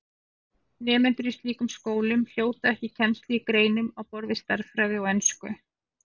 Nemendur í slíkum skólum hljóta ekki kennslu í greinum á borð við stærðfræði og ensku.